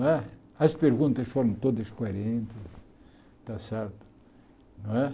Né as perguntas foram todas coerentes, está certo. Não é